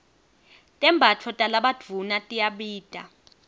tembatfo talabadvuna tiyabita